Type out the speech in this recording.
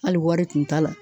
Hali wari tun t'a la.